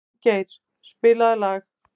Finngeir, spilaðu lag.